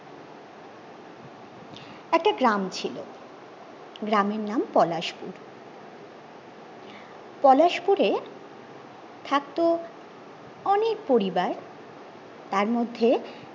একটা গ্রাম ছিল গ্রামের নাম পলাশপুর পলাশপুরে থাকত অনেক পরিবার তার মধ্যে